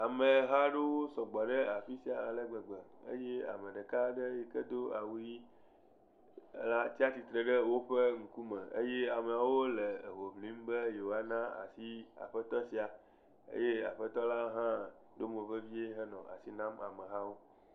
Ameha aɖewo sɔgbɔ ɖe afi sia alegbegbe eye ame ɖeka aɖe yike do awu ɣi tia titre ɖe woƒe ŋkume eye ameawo le hoʋlim be yewoana asi aƒetɔ sia eye aƒetɔ la ha ɖo mo vevie henɔ asi nam amehawo